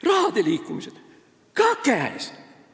Raha liikumised – ka käes!